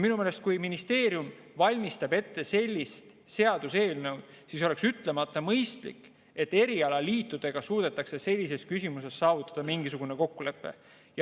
Minu meelest, kui ministeerium valmistab ette sellist seaduseelnõu, siis oleks ütlemata mõistlik, kui erialaliitudega suudetaks sellises küsimuses saavutada mingisugune kokkulepe.